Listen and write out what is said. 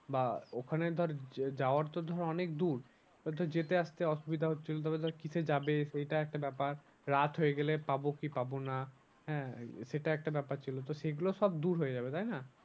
বা ওখানে ধর যাওয়ার তো ধর অনেক দূর। তো ধর যেতে আসতে অসুবিধা হচ্ছিলো। তারপর ধর কিসে যাবে এটা একটা ব্যাপার। রাত হয়ে গেলে পাবো কি পাবো না? হ্যাঁ সেটা একটা ব্যাপার ছিল তো সেগুলো সব দূর হয়ে যাবে তাই না?